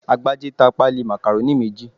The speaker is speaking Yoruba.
Agbájé ta pálí Macaroni méjì